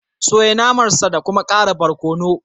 Soya naman sa da kuma ƙara barkono